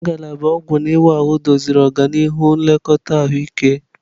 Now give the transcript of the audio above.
Ngalaba ọgwụ na ịwa ahụ doziri ọdịnihu nlekọta ahụike.